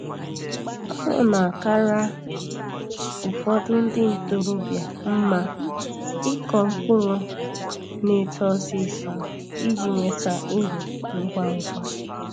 O na-akara ụfọdụ ndị ntorobia mma ịkọ mkpụrụ na-eto ọsịsọ iji nweta uru ngwangwa